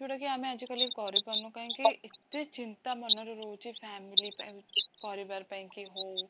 ଯୋଉଟାକି ଆମେ ଆଜି କାଲି କରିପାରୁନେ କାହିଁକି ଏତେ ଚିନ୍ତା ମନରେ ରହୁଛି family ପାଇଁ, ପରିବାର ପାଇଁକି ହୋଉ